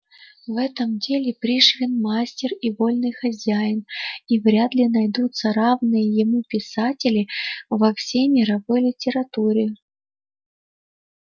в этом деле пришвин мастер и вольный хозяин и вряд ли найдутся равные ему писатели во всей мировой литературе